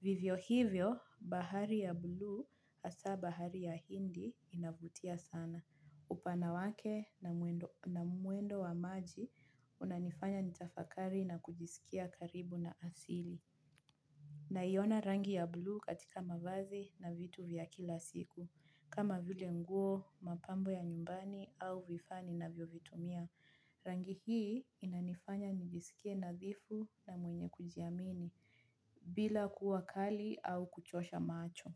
Vivyo hivyo, bahari ya buluu hasa bahari ya hindi inavutia sana. Upana wake na mwendo wa maji unanifanya nitafakari na kujisikia karibu na asili. Naiona rangi ya buluu katika mavazi na vitu vya kila siku. Kama vile nguo, mapambo ya nyumbani au vifaa ninavyovitumia. Rangi hii inanifanya nijisikie nadhifu na mwenye kujiamini bila kuwa kali au kuchosha macho.